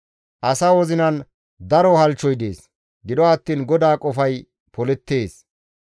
Asa wozinan daro halchchoy dees; gido attiin GODAA qofay polettees.